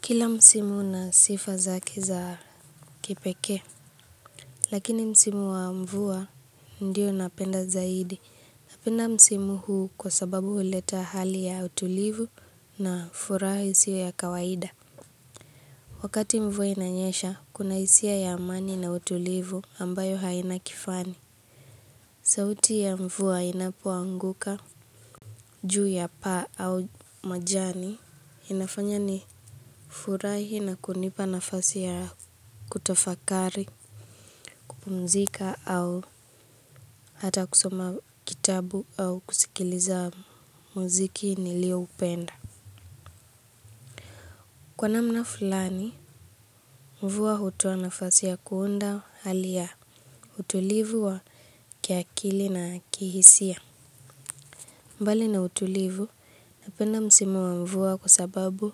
Kila msimu una sifa zake za kipekee, lakini msimu wa mvua ndio napenda zaidi. Napenda msimu huu kwa sababu huleta hali ya utulivu na furaha isiyo ya kawaida. Wakati mvua inanyesha, kuna hisia ya amani na utulivu ambayo haina kifani. Sauti ya mvua inapoanguka juu ya paa au majani inafanya nifurahi na kunipa nafasi ya kutafakari, kupumzika au hata kusoma kitabu au kusikiliza muziki nilioupenda. Kwa namna fulani, mvua hutoa nafasi ya kuunda hali ya utulivu wa kiakili na kihisia. Mbali na utulivu, napenda msimu wa mvua kwa sababu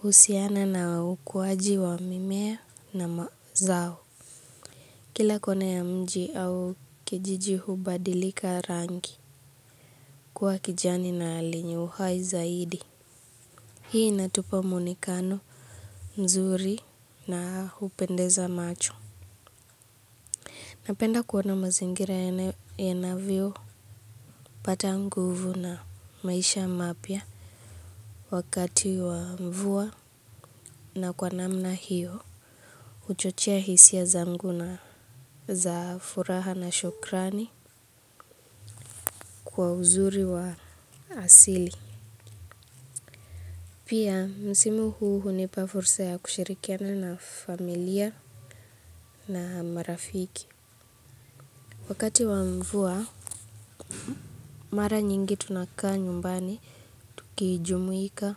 unahusiana na ukuwaji wa mimea na mazao. Kila kona ya mji au kijiji hubadilika rangi kuwa kijani na lenye uhai zaidi. Hii inatupa muonekano mzuri na hupendeza macho. Napenda kuona mazingira yanavyo pata nguvu na maisha mapya wakati wa mvua na kwa namna hiyo. Huchochea hisia zangu na za furaha na shukrani kwa uzuri wa asili. Pia, msimu huu hunipa fursa ya kushirikiana na familia na marafiki. Wakati wa mvua, mara nyingi tunakaa nyumbani, tukijumuika,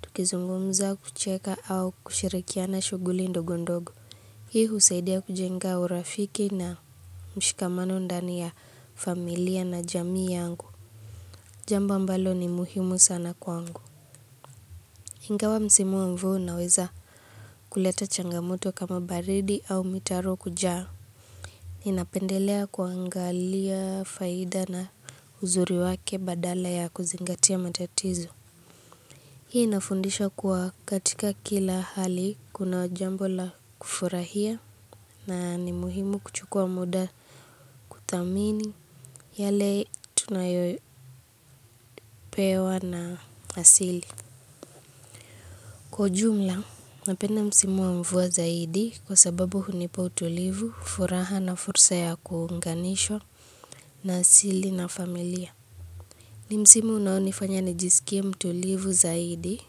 tukizungumza, kucheka au kushirikiana shughuli ndogo ndogo. Hii husaidia kujenga urafiki na mshikamano ndani ya familia na jamii yangu. Jambo ambalo ni muhimu sana kwangu. Ingawa msimu wa mvua unaweza kuleta changamoto kama baridi au mitaro kujaa. Ninapendelea kuangalia faida na uzuri wake badala ya kuzingatia matatizo. Hii inafundisha kuwa katika kila hali kuna jambo la kufurahia na ni muhimu kuchukua muda kuthamini yale tunayopewa na asili. Kwa ujumla napenda msimu wa mvua zaidi kwa sababu hunipa utulivu, furaha na fursa ya kuunganishwa na asili na familia. Ni msimu unaonifanya nijisikie mtulivu zaidi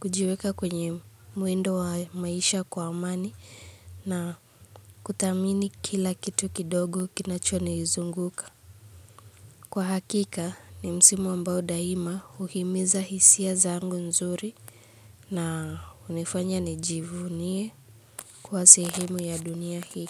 kujiweka kwenye mwendo wa maisha kwa amani na kuthamini kila kitu kidogo kinachonizunguka. Kwa hakika, ni msimu ambao daima huhimiza hisia zangu nzuri na hunifanya nijivunie kwa sehemu ya dunia hii.